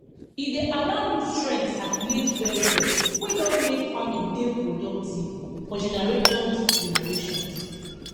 e dey allow nutrient circulate well well wey don make farming dey productive for generations generations